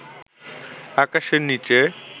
আকাশের নিচে